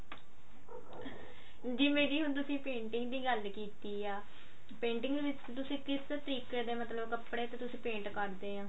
ਜਿਵੇਂ ਕੀ ਹੁਣ ਤੁਸੀਂ painting ਦੀ ਗੱਲ ਕੀਤੀ ਆ painting ਦੇ ਵਿੱਚ ਤੁਸੀਂ ਕਿਸ ਤਰੀਕੇ ਦੇ ਮਤਲਬ ਕੱਪੜੇ ਵੀ ਤੁਸੀਂ paint ਕਰਦੇ ਆਂ